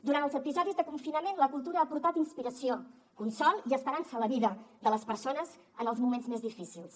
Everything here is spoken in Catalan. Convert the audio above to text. durant els episodis de confinament la cultura ha portat inspiració consol i esperança a la vida de les persones en els moments més difícils